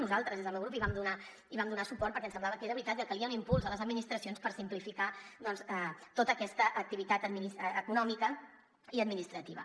nosaltres des del meu grup hi vam donar suport perquè ens semblava que era veritat que calia un impuls a les administracions per simplificar tota aquesta activitat econòmica i administrativa